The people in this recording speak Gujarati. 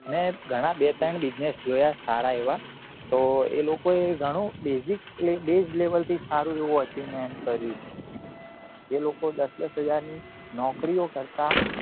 મેં ઘણાં બે ત્રણ business જોયા સારા એવા તો એ લોકો એ ગણો basic base level થી સારું એવું ultimate કર્યું જે લોકો દસ દસ હજાર ની નોકરીઓ કરતા